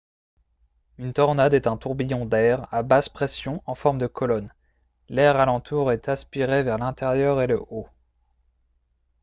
une tornade est un tourbillon d'air à basse-pression en forme de colonne l'air alentour est aspiré vers l'intérieur et le haut